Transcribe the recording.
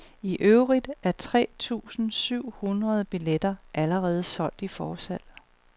I øvrigt er tre tusinde syv hundrede billetter allerede solgt i forsalg.